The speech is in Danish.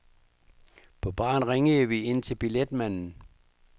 På baren ringede vi ind til billetmanden.